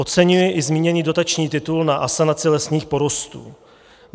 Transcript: Oceňuji i zmíněný dotační titul na asanaci lesních porostů.